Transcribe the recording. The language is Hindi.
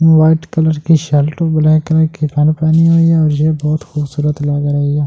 वाइट कलर की शर्ट और ब्लैक कलर की पेंट पहनी हुई है और ये बहुत खूबसूरत लग रही है।